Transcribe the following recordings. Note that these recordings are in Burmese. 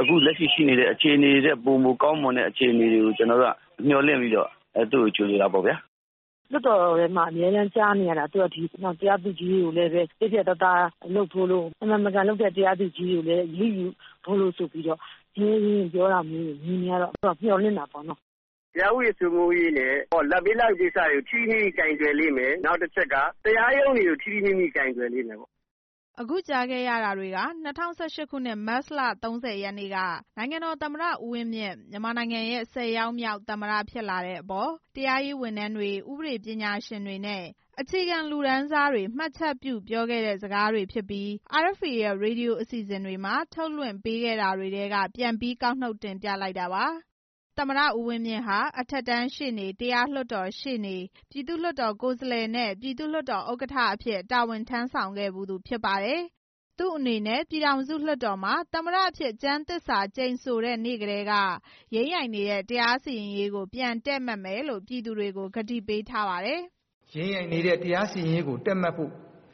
အခုလက်ရှိရှိနေတဲ့ အခြေအနေတွေထက် ပိုမိုကောင်းမွန်တဲ့ အခြေအနေတွေကို ကျနော်တို့ မျှော်လင့်ပြီး သူ့ကို ကြိုဆိုကြတာပေါ့ဗျာ။” “လွှတ်တော်ထဲမှာ အမြဲကြားနေရတာ သူကဥပဒေစိုးမိုးရေးနဲ့ ပတ်သက်ပြီးတော့ ပြောတယ်။ ဆိုတယ်။ တရားသူကြီးတွေကို ပြတ်ပြတ်သားသားလုပ်ဖို့ မမှန်မကန်လုပ်တဲ့ တရားသူကြီးတွေကိုလည်း အရေးယူဖို့ ရဲရဲရင့်ရင့် ပြောတာတွေမြင်ရတော့ မျှော်လင့်တာပေါ့။” “တရားဥပဒေစိုးမိုးရေးနဲ့ လာဘ်ပေးလာဘ်ယူကိစ္စတွေကို ထိထိမိမိကိုင်တွယ်လိမ့်မယ်။ နောက်တစ်ချက်က တရားရုံးတွေကို ထိထိမိမိကိုင်တွယ်လိမ့်မယ်။” အခုကြားခဲ့ရတာတွေက ၂၀၁၈ ခုနှစ် မတ်လ ၃၀ ရက်နေ့က နိုင်ငံတော်သမ္မတ ဦးဝင်းမြင့် မြန်မာနိုင်ငံရဲ့ ၁၀ ယောက်မြောက် သမ္မတဖြစ်လာတဲ့အပေါ် တရားရေးဝန်ထမ်းတွေ၊ ဥပဒေပညာရှင်တွေနဲ့ အခြေခံလူတန်းစားတွေ မှတ်ချက်ပြုပြောခဲ့တဲ့စကားတွေဖြစ်ပြီး RFA ရဲ့ ရေဒီယိုအစီစဉ်တွေမှာ ထုတ်လွှင့်ပေးခဲ့တာတွေထဲက ပြန်ပြီးကောက်နုတ်တင်ပြလိုက်တာပါ။ သမ္မတဦးဝင်းမြင့်ဟာ အထက်တန်းရှေ့နေ၊ တရားလွှတ်တော်ရှေ့နေ၊ ပြည်သူ့လွှတ်တော်ကိုယ်စားလှယ်နဲ့ ပြည်သူ့လွှတ်တော်ဥက္ကဋ္ဌ အဖြစ်တာဝန်ထမ်းဆောင်ခဲ့ဖူးသူဖြစ်ပါတယ်။ သူအနေနဲ့ ပြည်ထောင်စုလွှတ်တော်မှာ သမ္မတအဖြစ် ကျမ်းသစ္စာကျိန်ဆိုတဲ့ နေ့ကတည်းက ယိမ်းယိုင်နေတဲ့ တရားစီရင်ရေးကို ပြန်တည့်မတ်မယ်လို့ ပြည်သူတွေကို ကတိပေးထားပါတယ်။ “ယိမ်းယိုင်နေတဲ့ တရားစီရင်ရေးကို တည့်မတ်ဖို့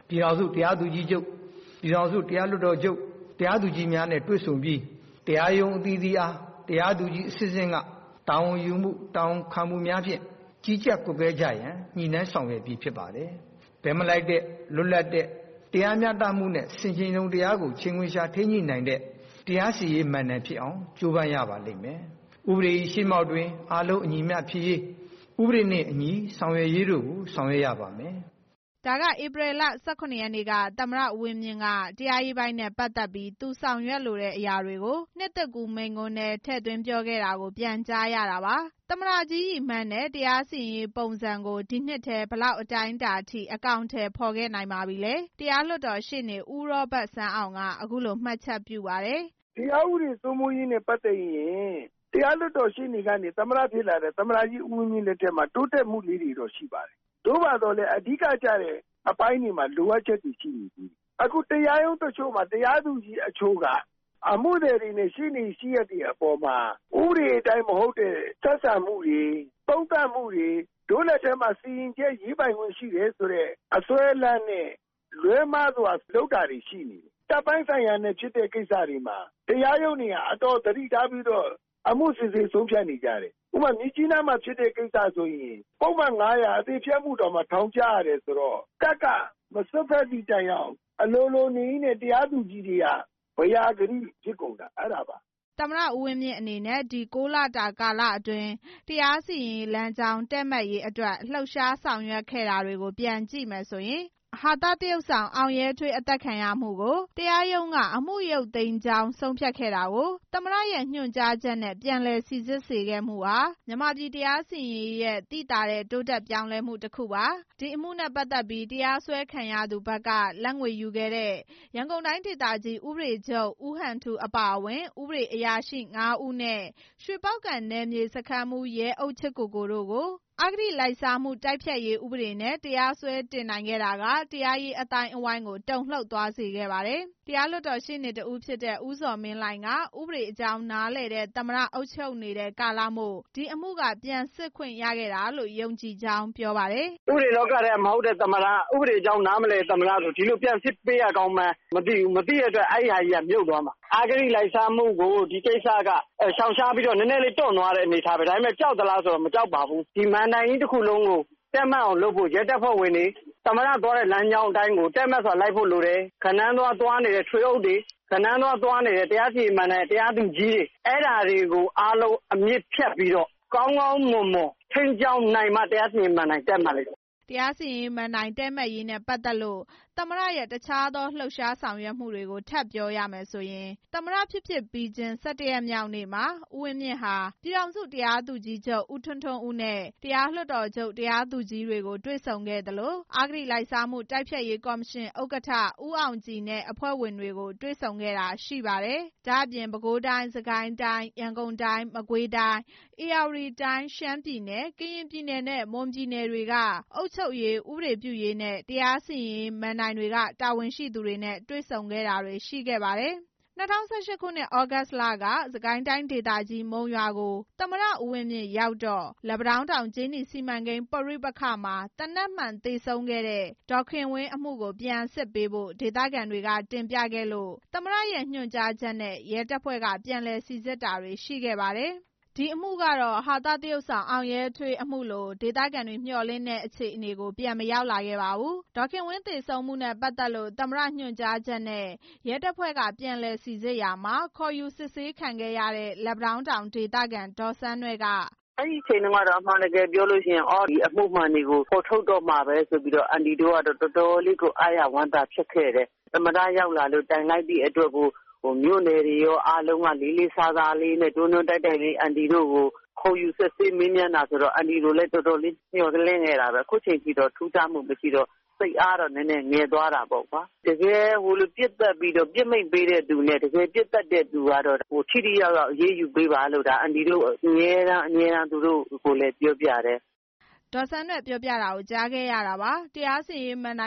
ပြည်ထောင်စုတရားသူကြီးချုပ်၊ ပြည်ထောင်စု တရားလွှတ်တော်ချုပ်၊ တရားသူကြီးများနဲ့ တွေ့ဆုံပြီး တရားရုံးအသီးသီးအား တရားသူကြီးအဆင့်ဆင့်က တာဝန်ယူမှု၊ တာဝန်ခံမှုများဖြင့် ကြီးကြပ်ကွပ်ကဲကြရန် ညှိနှိုင်းဆောင်ရွက်ပြီး ဖြစ်ပါတယ်။ ဘက်မလိုက်တဲ့ လွတ်လပ်တဲ့ တရားမျှတမှုနဲ့ ဆင်ခြင်တုံတရားကို ချိန်ခွင်လျှာထိန်းညှိနိုင်တဲ့ တရားစီရင်ရေးမဏ္ဍိုင်ဖြစ်အောင် ကြိုးပမ်းရပါလိမ့်မယ်။ ဥပဒေရဲ့ရှေ့မှောက်မှာ အားလုံးအညီအမျှဖြစ်ရေး ဥပဒေနဲ့အညီ ဆောင်ရွက်ရေးတို့ကို ဆောင်ရွက်ရပါမယ်။” ဒါက ဧပြီလ ၁၇ ရက်နေ့က သမ္မတဦးဝင်းမြင့်က တရားရေးပိုင်းနဲ့ ပတ်သက်ပြီး သူဆောင်ရွက်လိုတဲ့အရာတွေကို နှစ်သစ်ကူးမိန့်ခွန်းထဲ ထည့်သွင်းပြောခဲ့တာကို ပြန်ကြားရတာပါ။ သမ္မတကြီးရည်မှန်းတဲ့ တရားစီရင်ရေးပုံစံကို ဒီနှစ်ထဲ ဘယ်လောက်အတိုင်းအတာထိ အကောင် အထည်ဖော်ခဲ့နိုင်ပါပြီလဲ။ တရားလွှတ်တော်ရှေ့နေ ဦးရောဘတ်စန်းအောင်က အခုလို မှတ်ချက်ပြုပါတယ်။ “တရားဥပဒေစိုးမိုးရေးနဲ့ ပတ်သက်ရင် တရားလွှတ်တော်ရှေ့နေကနေ သမ္မတဖြစ်လာတဲ့ သမ္မတကြီး ဦးဝင်းမြင့် လက်ထက်မှာ တိုးတက်မှုလေးတွေတော့ ရှိပါတယ်။ သို့ပါသော်လည်း အဓိကကျတဲ့အပိုင်းတွေမှာ လိုအပ် ချက်လေးတွေ ရှိနေသေးတယ်။ အခုတရားရုံးတချို့မှာ တရားသူကြီးတချို့က အမှုသည်တွေနဲ့ ရှေ့နေ၊ ရှေ့ရပ်တွေအပေါ်မှာ ဥပဒေအတိုင်း မဟုတ်တဲ့ ဆက်ဆံမှုတွေ၊ သုံးသပ်မှုတွေ၊ ဒို့လက်ထဲမှာ စီရင်ချက်ရေး ပိုင်ခွင့်ရှိတယ်ဆိုတဲ့ အစွဲအလမ်းနဲ့ လွဲမှားစွာလုပ်တာတွေရှိတယ်။ တပ်ပိုင်းဆိုင်ရာနဲ့ ဖြစ်တဲ့ကိစ္စတွေမှာ တရားရုံးတွေက အတော်သတိထားပြီး အမှုစစ်ဆေးဆုံးဖြတ်နေကြတယ်။ ဥပမာ- မြစ်ကြီးနားမှာဖြစ်တဲ့ ကိစ္စဆိုရင် ပုဒ်မ ၅၀၀ အသေရေဖျက်မှုတောင် ထောင်ကျရတယ်ဆိုတော့ တပ်က ဝင်မစွက်ဖက်သည့် တိုင်အောင် အလိုလိုနေရင်းနဲ့ တရားသူကြီးတွေက ဘယာ ဂတိတွေဖြစ်ကုန်တာ အဲဒါပါ။” သမ္မတဦးဝင်းမြင့်အနေနဲ့ ဒီ ၉ လတာကာလအတွင်း တရားစီရင်ရေးလမ်းကြောင်း တည့်မတ်ရေးအတွက် လှုပ်ရှားဆောင်ရွက်ခဲ့တာတွေ ပြန်ကြည့်မယ်ဆိုရင် ဟာသသရုပ်ဆောင် အောင်ရဲထွေး အသတ်ခံရမှုကို တရားရုံးက အမှုရုပ်သိမ်းကြောင်း ဆုံးဖြတ်ခဲ့တာကို သမ္မတရဲ့ ညွှန်ကြားချက်နဲ့ ပြန်လည်စိစစ်စေခဲ့မှုဟာ မြန်မာပြည်တရားစီရင်ရေးရဲ့ သိသာတဲ့ တိုးတက်ပြောင်းလဲမှုတစ်ခုပါ။ အဲဒီအမှုနဲ့ ပတ်သက်ပြီး တရားစွဲခံရသူဘက်က လာဘ်ငွေယူခဲ့တဲ့ ရန်ကုန်တိုင်းဒေသကြီး ဥပဒေချုပ် ဦးဟန်ထူး အပါအဝင် ဥပဒေအရာရှိ ၅ ဦးနဲ့ ရွှေပေါက္ကံနယ်မြေ စခန်းမှူး ရဲအုပ်ချစ်ကိုကို တို့ကို အဂတိလိုက်စားမှု တိုက်ဖျက်ရေးဥပဒေနဲ့ တရားစွဲတင်နိုင်ခဲ့တာက တရားရေး အသိုင်းအဝိုင်းကို တုန်လှုပ်သွားစေခဲ့ပါတယ်။ တရားလွှတ်တော်ရှေ့နေတစ်ဦးဖြစ်တဲ့ ဦးဇော်မင်းလှိုင်က ဥပဒေအကြောင်းနားလည်တဲ့ သမ္မတအုပ်ချုပ်နေတဲ့ ကာလမို့ ဒီအမှုက ပြန်စစ်ခွင့်ရခဲ့တာလို့ ယုံကြည်ကြောင်း ပြောပါတယ်။ “ဥပဒေလောကထဲက မဟုတ်တဲ့ သမ္မတ၊ ဥပဒေအကြောင်း နားမလည်တဲ့ သမ္မတဆို ဒီလို ပြန်စစ်ပေး ရကောင်းမှန်း မသိဘူး။ မသိတဲ့အတွက် အဲဟာကြီးက မြုပ်သွားမှာ။ အဂတိလိုက်စားမှုကို ရှောင်ရှားပြီး နည်းနည်းလေးတွန့်သွားတယ်၊ ဒီကိစ္စက ဒါပေမဲ့ ကြောက်သလားဆို မကြောက်ပါဘူး။ မဏ္ဍိုင်ကြီးတစ်ခုလုံးကို တည့်မတ်အောင်လုပ်ဖို့ ရဲတပ်ဖွဲ့ဝင်တွေ၊ သမ္မတသွားတဲ့လမ်းကြောင်းကို တည့်မတ်စွာလိုက်ဖို့လိုတယ်။ ဂဏန်းသွားသွားနေတဲ့ ထွေအုပ်တွေ၊ တရားစီရင်ရေးမဏ္ဍိုင်က တရားသူကြီးတွေ အဲဒါတွေအားလုံး အမြစ်ဖြတ်ပြီး ကောင်းကောင်းမွန်ထိန်းကြောင်းနိုင်မှ တရားစီရင်ရေးမဏ္ဍိုင် တည့်မတ်လိမ့်မယ်။” တရားစီရင်ရေးမဏ္ဍိုင် တည့်မတ်ရေးနဲ့ ပတ်သက်လို့ သမ္မတရဲ့ တခြားသော လှုပ်ရှားဆောင်ရွက်မှုတွေကို ထပ်ပြောရမယ်ဆိုရင် သမ္မတဖြစ်ဖြစ်ပြီးချင်း ၁၁ ရက်မြောက်နေ့မှာ ဦးဝင်းမြင့်ဟာ ပြည်ထောင်စုတရားသူကြီးချုပ် ဦးထွန်းထွန်းဦးနဲ့ တရားလွှတ်တော်ချုပ်တရားသူကြီးတွေကို တွေ့ဆုံခဲ့သလို အဂတိလိုက်စားမှု တိုက်ဖျက်ရေးကော်မရှင် ဥက္ကဋ္ဌ ဦးအောင်ကြည်နဲ့အဖွဲ့ဝင်တွေကို တွေ့ဆုံခဲ့တာရှိပါတယ်။ ဒါ့အပြင် ပဲခူးတိုင်း၊ စစ်ကိုင်းတိုင်း၊ ရန်ကုန်တိုင်း၊ မကွေးတိုင်း၊ ဧရာဝတီတိုင်း၊ ရှမ်းပြည်နယ်၊ ကရင် ပြည်နယ်နဲ့ မွန်ပြည်နယ်တို့က အုပ်ချုပ်ရေး၊ ဥပဒေပြုရေးနဲ့ တရားစီရင်ရေးမဏ္ဍိုင်က တာဝန်ရှိသူတွေနဲ့ တွေ့ဆုံခဲ့တာတွေ ရှိခဲ့ပါတယ်။ ၂၀၁၈ သြဂုတ်လထဲ စစ်ကိုင်းတိုင်းဒေသကြီး မုံရွာကို သမ္မတ ဦးဝင်းမြင့်ရောက်တော့ လက်ပံတောင်း တောင်ကြေးနီစီမံကိန်း ပဋိပက္ခမှာ သေနတ်မှန်သေဆုံးခဲ့တဲ့ ဒေါ်ခင်ဝင်းအမှုကို ပြန်စစ်ပေးဖို့ ဒေသခံတွေက တင်ပြခဲ့လို့ သမ္မတရဲ့ ညွှန်ကြားချက်နဲ့ ရဲတပ်ဖွဲ့က ပြန်လည်စိစစ်တာတွေ ရှိခဲ့ပါတယ်။ ဒီအမှုကတော့ ဟာသသရုပ်ဆောင် အောင်ရဲထွေးအမှုလို ဒေသခံတွေမျှော်လင့်တဲ့ အခြေအနေ ပြန်မရောက်လာခဲ့ပါဘူး။ ဒေါ်ခင်ဝင်းသေဆုံးမှုနဲ့ ပတ်သက်လို့ သမ္မတညွှန်ကြားချက်နဲ့ ရဲတပ်ဖွဲ့က ပြန်လည်စိစစ်ရာမှာ ခေါ်ယူစစ်ဆေးခံခဲ့ရတဲ့ လက်ပံတောင်းဒေသခံ ဒေါ်စန်းနွဲ့က “အဲဒီအချိန်တုန်းကတော့ ပြောလို့ရှိရင် ဒီအမှုမှန်တွေကို ဖော်ထုတ်တော့မှာပဲ ဆိုပြီးတော့ အန်တီတို့က အားရဝမ်းသာရှိခဲ့တယ်။ သမ္မတရောက်လာလို့ တိုင်လိုက်သည့်အတွက်ကို မြို့နယ်တွေကော၊ အားလုံးက လေးလေးစားစားနဲ့ တွန်းတွန်းတိုက်တိုက်လေး ခေါ်ယူစစ်ဆေးမေးမြန်းခဲ့တာတွေရှိတော့ အန်တီတို့ တော်တော်လေးမျှော်လင့်ခဲ့တာပဲ။ ခုချိန်ထိတော့ ထူးခြားမှုမရှိတော့ စိတ်အားတော့ ငယ်သွားတာပေါ့။ တကယ့်ကို ပစ်မိန့်ပေးပြီး ပစ်သတ်တဲ့သူကို ထိထိရောက်ရောက်အရေးယူူဖို့ အမြဲတမ်းပြောပါတယ်။” တရားစီရင်ရေးမဏ္ဍိုင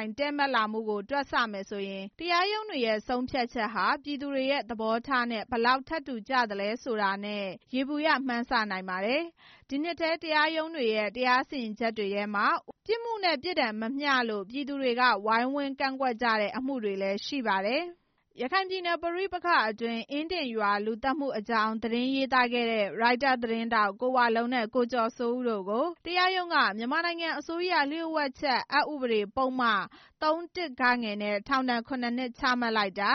် တည့်မတ်လာမှုကို တွက်ဆမယ်ဆိုရင် တရားရုံးတွေရဲ့ ဆုံးဖြတ်ချက်တွေဟာ ပြည်သူတွေရဲ့သဘောထားတွေနဲ့ ဘယ်လောက်ထပ်တူကြသလဲဆိုတာနဲ့ ယေဘူယျ မှန်းဆနိုင်ပါတယ်။ ဒီနှစ်ထဲ တရားရုံးတွေရဲ့ တရားစီရင်ချက်တွေမှာ ပြစ်မှုနဲ့ ပြစ်ဒဏ်မမျှတလို့ ပြည်သူတွေက ဝိုင်းဝန်းကန့်ကွက်ကြတဲ့ အမှုတွေလည်း ရှိခဲ့ပါတယ်။ ရခိုင်ပြည်နယ်ပဋိပက္ခအတွင်း အင်းဒင်ရွာလူသတ်မှုအကြောင်း သတင်းရေးသားခဲ့တဲ့ ရိုက်တာ သတင်းထောက် ကိုဝလုံးနဲ့ ကိုကျော်စိုးဦးတို့ကို တရားရုံးက မြန်မာနိုင်ငံအစိုးရလျှို့ဝှက်ချက်အက် ဥပဒေ ပုဒ်မ ၃ နဲ့ ထောင်ဒဏ် ၇ နှစ် ချမှတ်လိုက်တာ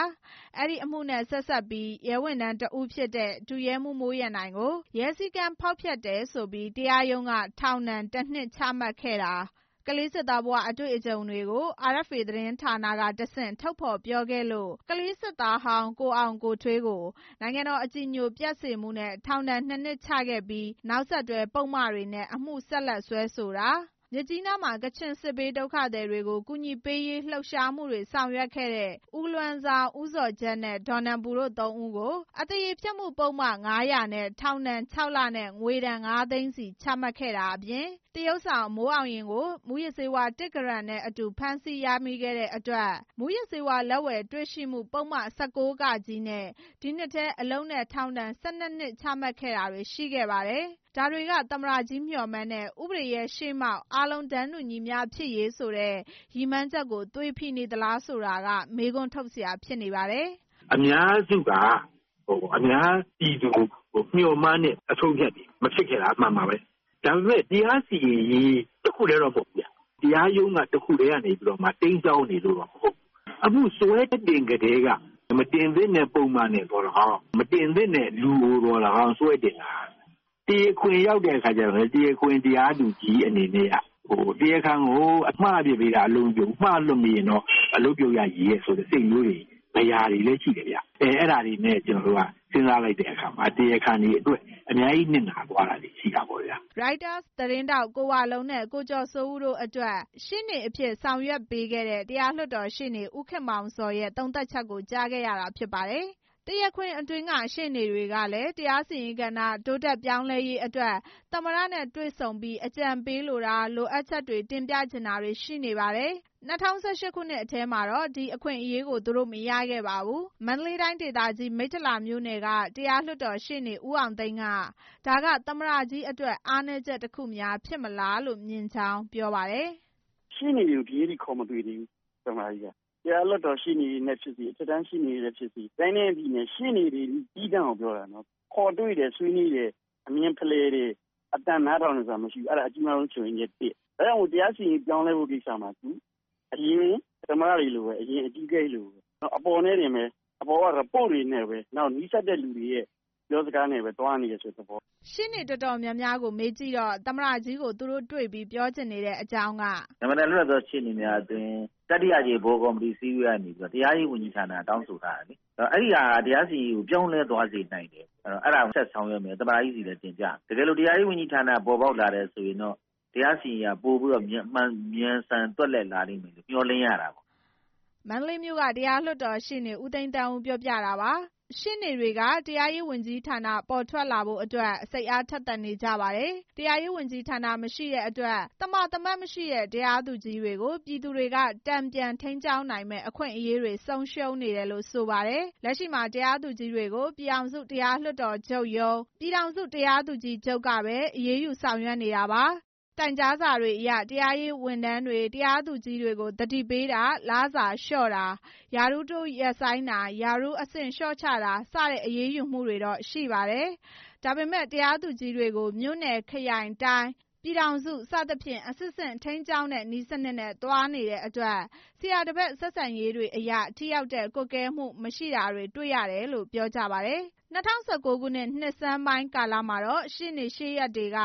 ၊ အဲဒီအမှုနဲ့ ဆက်စပ်ပြီး ရဲဝန်ထမ်းတစ်ဦးဖြစ်တဲ့ ဒုရဲမှူးမိုးရန်နိုင်ကို ရဲစည်းကမ်းဖောက်ဖျတ်တယ်ဆိုပြီး တရားရုံးက ထောင်ဒဏ် ၁ နှစ် ချမှတ်ခဲ့တာ။ ကလေးစစ်သားဘဝ အတွေ့အကြုံတွေကို RFA သတင်းဌာနကတဆင့် ထုတ်ဖော်ပြောခဲ့လို့ ကလေးစစ်သားဟောင်း ကိုအောင်ကိုထွေးကို နိုင်ငံတော်အကြည်ညိုပျက်စေမှုနဲ့ ထောင်ဒဏ် ၂ နှစ်ချခဲ့ပြီး နောက်ဆက်တွဲ ပုဒ်မတွေနဲ့ အမှုဆက်လက်စွဲဆိုတာ၊ မြစ်ကြီးနားမှာ ကချင်စစ်ဘေးဒုက္ခသည်တွေ အကူအညီပေးရေး လှုပ်ရှားမှုတွေ ဆောင်ရွက်ခဲ့တဲ့ ဦးလွမ်းဇောင်း၊ ဦးဇော်ဂျက်နဲ့ ဒေါ်နန်ပူတို့ ၃ ဦးကို အသေရေဖျက်မှု ပုဒ်မ ၅၀၀ နဲ့ ထောင်ဒဏ် ၆ လ နဲ့ ငွေဒဏ် ၅ သိန်းစီ ချမှတ်ခဲ့တာနဲ့ သရုပ်ဆောင် မိုးအောင်ရင်ကို မူးယစ်ဆေးဝါး ၁ ဂရမ်နဲ့ အတူဖမ်းဆီးရမိခဲ့တဲ့အတွက် မူးယစ်ဆေးဝါး လက်ဝယ်တွေ့ရှိမှု ပုဒ်မ ၁၉ နဲ့ ဒီနှစ်ထဲ အလုပ်နဲ့ ထောင်ဒဏ် ၁၂ နှစ် ချမှတ်ခဲ့တဲ့တာ တွေရှိခဲ့ပါတယ်။ ဒါတွေက သမ္မတကြီး မျှော်မှန်းတဲ့ ဥပဒေရဲ့ ရှေ့မှောက်မှာ အားလုံးတန်းတူညီမျှဖြစ်ရေးဆိုတဲ့ ရည်မှန်းချက်ကို သွေဖီနေသလားဆိုတာက မေးခွန်းထုတ်စရာတွေ ဖြစ်နေပါတယ်။ “အများစုက အများပြည်သူမျှော်မှန်းတဲ့ အဆုံးအဖြတ်တွေ မဖြစ်ခဲ့တာအမှန်ပါပဲ။ ဒါပေမဲ့ တရားစီရင်ရေး တစ်ခုတည်းတော့ မဟုတ်ဘူးဗျ။ တရားရုံး တစ်ခုထဲကနေ တိမ်းစောငင်းနေလို့တော့ မဟုတ်ဘူး။ အမှုစွဲတင်ကတည်းက မတင်သင့်တဲ့ ပုဒ်မနဲ့သော်လည်းကောင်း၊ မတင်သင့်တဲ့ လူကိုလည်းကောင်းစွဲတင်တာ၊ တရားခွင်ရောက်တဲ့အခါကျတော့လည်း တရားခွင်တရားသူကြီးအနေနဲ့ တရားခံကို မှားအပစ်ပေးတာ ငါအလုပ်မပြုတ်ဘူး၊ တရားခံကို မှားလွှတ်ပေးလိုက်ရင် ငါအလုပ်ပြုတ်ရချေရဲ့ ဆိုပြီးတော့မှ စိုးရိမ်ချက် ဘယာတွေရှိတယ်ဗျ။ အဲဒါတွေနဲ့ စဉ်းစားလိုက်တဲ့အခါ တရားခံတွေအတွက် အများကြီး နစ်နာသွားတာတွေရှိတာပေါ့ဗျာ။” ရိုက်တာသတင်းထောက် ကိုဝလုံးနဲ့ ကိုကျော်စိုးဦး တို့အတွက် ရှေ့နေအဖြစ်ဆောင်ရွက်ပေးခဲ့တဲ့ တရားလွှတ်တော်ရှေ့နေ ဦးခင်မောင်ဇော်ရဲ့ သုံးသပ်ချက်ကို ကြားခဲ့ရတာပါ။ တရားခွင်အတွင်း ရှေ့နေတွေကလည်း တရားစီရင်ရေးကဏ္ဍ တိုးတက်ပြောင်းလဲရေးအတွက် သမ္မတနဲ့ တွေ့ဆုံပြီး အကြံဉာဏ်ပေးလိုတာ၊ လိုအပ်ချက်တွေ တင်ပြချင်တာတွေ ရှိနေပါတယ်။ ၂၀၁၈ ခုနှစ်ထဲမှာတော့ ဒီအခွင့်အရေးကို သူတို့မရခဲ့ပါဘူး။ မန္တလေးတိုင်းဒေသကြီး၊ မိထ္ထီလာမြို့နယ်က တရားလွှတ်တော်ရှေ့နေ ဦးအောင်သိန်း က ဒါဟာ သမ္မတကြီးအတွက် အားနည်းချက်တစ်ခုများ ဖြစ်မလားလို့ မြင်ကြောင်း ပြောပါတယ်။ “ရှေ့နေတွေကို ဒီနေ့အထိ ခေါ်မတွေ့သေးဘူး သမ္မတကြီးက တရားလွှတ်တော်ရှေ့နေတွေနဲ့ဖြစ်စေ အထက်တန်းရှေ့နေတွေနဲ့ဖြစ်စေ တိုင်းနဲ့ပြည်နယ်တွေက ရှေ့နေတွေကို ပြောတာနော်။ ရှေ့နေတွေ သီးသန့် ခေါ်တွေ့တယ်၊ ဆွေးနွေးတယ်၊ အမြင်ဖလှယ်တယ်၊ အသံနားထောင်တယ်ဆိုတာမရှိဘူး။ အဲဒါအကြီးမားဆုံး ချို့ယွင်းချက် ၊ တရားစီရင်ရေး ပြောင်းလဲဖို့ကိစ္စမှာ အရင်သမ္မတတွေလိုပဲ အရင်အကြီးအကဲတွေလိုပဲ အပေါ်က ရီပို့တွေ၊ နီးစပ်တဲ့သူတွေရဲ့ ပြောစကားတွေနဲ့ပဲ သွားနေတယ်ဆိုတဲ့ သဘော။” ရှေ့နေတော်တော်များများကို မေးကြည့်တော့ သမ္မတကြီးကို သူတို့တွေ့ပြီး ပြောချင်နေတဲ့ အကြောင်းက “ မြန်မာနိုင်ငံ လွတ်လပ်သော ရှေ့နေများအသင်း တတိယအကြိမ် ဗဟိုကော်မတီအစည်းအဝေးကနေ တရားရေးဝန်ကြီးဌာန တောင်းဆိုထားတယ်လေ။ အဲဒါက တရားစီရင်ရေးကို ပြောင်းလဲသွားစေနိုင်တယ်။ အဲဒါကို ဆက်ဆောင်ရွက်မယ်။ သမ္မတကြီးဆီလည်း တင်ပြမယ်။ တကယ်လို့ တရားရေးဝန်ကြီးဌာန ပေါ်ပေါက်လာမယ်ဆိုရင် တရားစီရင်ရေးဟာ ပိုပြီးမြန်ဆန်သွက်လက်လာလိမ့်မယ်လို့ မျှော်လင့်ရတယ်။” မန္တလေးမြို့က တရားလွှတ်တော်ရှေ့နေ ဦးသိန်းသန်းဦးက ပြောခဲ့တာပါ။ ရှေ့နေတွေက တရားရေးဝန်ကြီးဌာန ပေါ်ထွက်လာဖို့ စိတ်အားထက်သန်နေကြပါတယ်။ တရားရေးဝန်ကြီးဌာန မရှိတဲ့အတွက် သမာသမတ်မရှိတဲ့ တရားသူကြီးတွေကို ပြည်သူတွေက တန်ပြန်ထိန်းကြောင်းနိုင်မယ့် အခွင့်အရေးဆုံးရှုံးနေတယ်လို့ ဆိုပါတယ်။ လက်ရှိမှာ တရားသူကြီးတွေကို ပြည်ထောင်စု တရားလွှတ်တော်ချုပ်ရုံး၊ ပြည်ထောင်စုတရားသူကြီးချုပ်ကပဲ အရေးယူဆောင်ရွက်နေတာပါ။ တိုင်ကြားစာတွေအရ တရားရေးဝန်ထမ်းတွေ၊ တရားသူကြီးတွေကို သတိပေးတာ၊ လစာလျော့တာ၊ ရာထူးတိုးရပ်ဆိုင်းတာ၊ ရာထူးအဆင့်လျော့ချတာ စတဲ့ အရေးယူမှုတွေတော့ရှိပါတယ်။ ဒါပေမဲ့ တရားသူကြီးတွေကို မြို့နယ်၊ ခရိုင်၊ တိုင်း၊ ပြည်ထောင်စု စသဖြင့် အဆင့်ဆင့် ထိန်းကျောင်းတဲ့နည်းစနစ်နဲ့ သွားနေတဲ့အတွက် ဆရာတပည့်ဆက်ဆံရေးတွေအရ ထိရောက်ကွပ်ကဲမှု မရှိတာတွေ တွေ့ရတယ်လို့ ပြောကြပါတယ်။ ဒီ၂၀၁၉ ခုနှစ် နှစ်ဆန်းပိုင်းကာလတွေမှာတော့ ရှေ့နေရှေ့ရပ်တွေက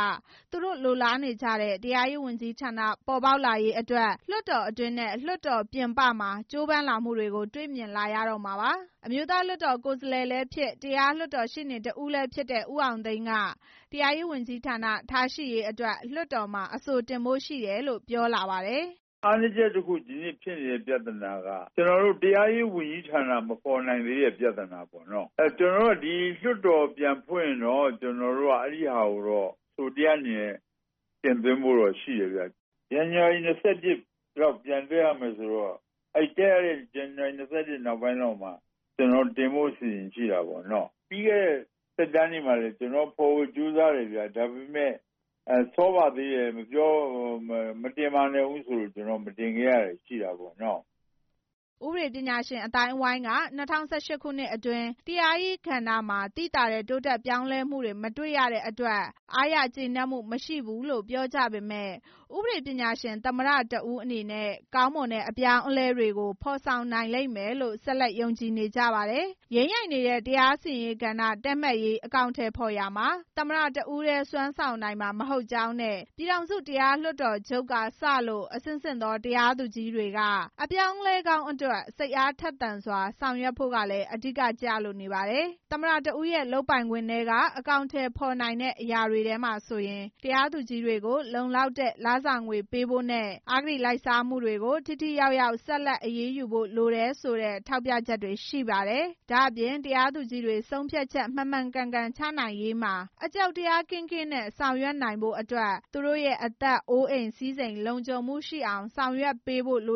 သူတို့လိုလားနေကြတဲ့ တရားရေးဝန်ကြီးဌာန ပေါ်ပေါက်လာရေးအတွက် လွှတ်တော်အတွင်းနဲ့ လွှတ်တော်ပြင်ပမှာ ကြိုးပမ်းလာမှုတွေကို တွေ့မြင်လာရတော့မှာပါ။ အမျိုးသားလွှတ်တော်ကိုယ်စားလှယ်လည်းဖြစ် တရားလွှတ်တော်ရှေ့နေတစ်ဦးလည်း ဖြစ်တဲ့ ဦးအောင်သိန်းက တရားရေးဝန်ကြီးဌာနထားရှိရေးအတွက် လွှတ်တော်မှာ အဆိုတင်ဖို့ ရှိတယ်လို့ ပြောလာပါတယ်။ “အားနည်းချက်တစ်ခု ဒီနေဖြစ်နေတာက တရားရေးဝန်ကြီးဌာန မပေါ်နိုင်သေးတဲ့ ပြဿနာပေါ့။ ဒီလွှတ်တော်ပြန်ဖွင့်ရင်တော့ ကျနော်တို့က အဲဒါကို အဆိုတရပ်အနေနဲ့ တင်သွင်းဖို့တော့ရှိတယ်ခင်ဗျ။ ဇန်နဝါရီ ၂၁ လောက် ပြန်တက်ရမယ်ဆိုတော့ အဲဒီပြန်တက်ရမယ့် ဇန်နဝါရီ ၂၁ နောက်ပိုင်းမှာ ကျနော်တို့တင်ဖို့ အစီစဉ်ရှိတာပေါ့။ ပြီးခဲ့တဲ့ သက်တမ်းတွေမှာလည်း ကျနော်တို့ဖော်ဖို့ ကြိုးစားတယ်ခင်ဗျ။ ဒါပေမဲ့ စောပါသေးတယ်။ မတင်ပါသေးနဲ့ဦးလို့ ပြောလို့ ကျနော်တို့ မတင်ပါသေးနဲ့ဦးဆိုလို့ ကျနော်တို့ မတင်ခဲ့ရတာတွေရှိတာပေါ့နော်။” ဥပဒေပညာရှင်အသိုင်းအဝိုင်းက ၂၀၁၈ ခုနှစ်အတွင်း တရားစီရင်ရေးကဏ္ဍမှာ သိသာတဲ့ တိုးတက် ပြောင်းလဲမှု မတွေ့ရတဲ့အတွက် အားရကျေနပ်မှုမရှိဘူးလို့ ပြောကြပေမယ့် ဥပဒေပညာရှင် သမ္မတတစ်ဦးအနေနဲ့ ကောင်းမွန်တဲ့အပြောင်းအလဲတွေကို ဖော်ဆောင်နိုင်လိမ့်မယ်လို့ ဆက်လက် ယုံကြည်နေကြပါတယ်။ ယိမ်းယိုင်နေတဲ့ တရားစီရင်ရေးမဏ္ဍိုင်တည့်မတ်ရေး အကောင်အထည်ဖော်ရာမှာ သမ္မတတစ်ဦးတည်း စွမ်းဆောင်နိုင်မှာ မဟုတ်ကြောင်းနဲ့ ပြည်ထောင်စုတရားလွှတ်တော်ချုပ်ကစလို့ အဆင့်ဆင့်သော တရားသူကြီးတွေက အပြောင်းအလဲကောင်းအတွက် စိတ်အားထက်သန်စွာ ဆောင်ရွက်ဖို့က အဓိက ကျပါတယ်။ သမ္မတတစ်ဦးရဲ့ လုပ်ပိုင်ခွင့်ထဲက အကောင်အထည်ဖော်နိုင်တဲ့အရာတွေထဲမှာဆိုရင် တရားသူကြီးတွေကို လုံလောက်တဲ့ လစာငွေပေးဖို့နဲ့ အဂတိလိုက်စားမှုတွေကို ထိထိရောက်ရောက် ဆက်လက်အရေးယူဖို့လိုတယ်ဆိုတဲ့ ထောက်ပြချက် တွေရှိပါတယ်။ ဒါ့အပြင် တရားသူကြီးတွေ ဆုံးဖြတ်ချက်မှန်မှန်ကန်ကန်ချမှတ်နိုင်ရေးမှာ အကြောက်တရား ကင်းကင်းနဲ့ ဆောင်ရွက်နိုင်ရေးဖို့ သူတို့ရဲ့ အသက်၊ အိုးအိမ်၊ စည်းစိမ် လုံခြုံမှုရှိအောင် ဆောင်ရွက်ပေးဖို့လ